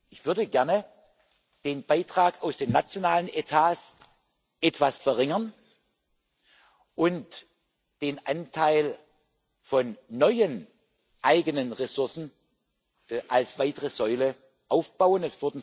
Ich würde gerne den Beitrag aus den nationalen Etats etwas verringern und den Anteil von neuen eigenen Ressourcen als weitere Säule aufbauen.